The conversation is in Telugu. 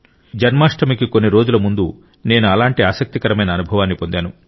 జన్మాష్టమికి కొన్ని రోజుల ముందు నేను అలాంటి ఆసక్తికరమైన అనుభవాన్ని పొందాను